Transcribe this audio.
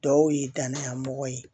Dɔw ye danaya mɔgɔ ye